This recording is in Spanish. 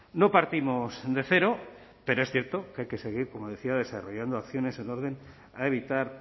no partimos de cero pero es cierto que hay que seguir como decía desarrollando acciones en orden a evitar